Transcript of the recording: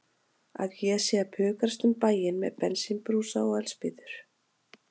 Að ég sé að pukrast um bæinn með bensínbrúsa og eldspýtur.